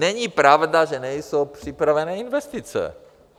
Není pravda, že nejsou připravené investice.